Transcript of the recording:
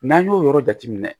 N'an y'o yɔrɔ jateminɛ